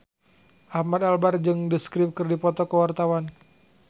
Ahmad Albar jeung The Script keur dipoto ku wartawan